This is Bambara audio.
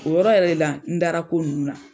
O yɔrɔ yɛrɛ le la n dara ko nunnu na.